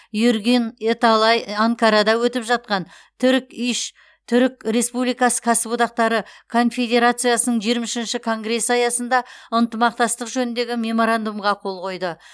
эргюн эталай анкарада өтіп жатқан турк иш түрік республикасы кәсіподақтары конфедерациясының жиырма үшінші конгресі аясында ынтымақтастық жөніндегі меморандумға қол қойды